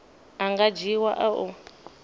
a nga dzhiiwa a u